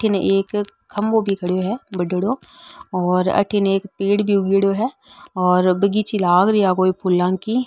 अठीने एक खम्भों भी खड़े है बडिनो अठीने एक पेड़ भी उगेडो है और बगीची लग रही है कोई फुला की --